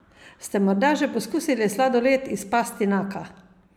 Ste morda že poskusili sladoled iz pastinaka?